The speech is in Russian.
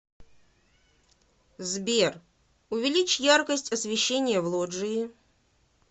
сбер увеличь яркость освещения в лоджии